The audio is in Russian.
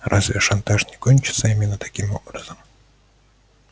разве шантаж не кончится именно таким образом